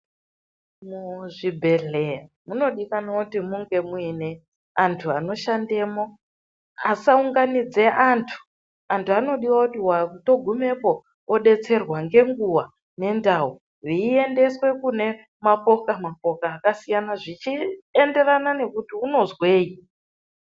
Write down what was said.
Muzvibhedhleya munodikanwa kuti munge muine antu anoshandemwo, asaunganidze antu. Antu anodiwe kuti atogumepo odetserwa ngenguva ngendau, veindeswe kune mapoka-mapoka akasiyana zvichienderana nekuti unozwei.